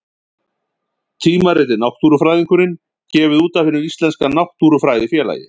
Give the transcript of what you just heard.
Tímaritið Náttúrufræðingurinn, gefið út af Hinu íslenska náttúrufræðifélagi.